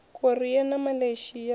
korea na malaysia a na